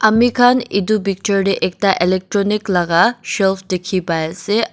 amikhan edu picture tae ekta electronic laka shelf dikhi paiase.